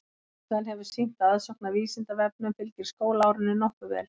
Reynslan hefur sýnt að aðsókn að Vísindavefnum fylgir skólaárinu nokkuð vel.